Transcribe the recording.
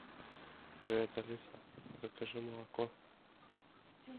привет алиса закажи молоко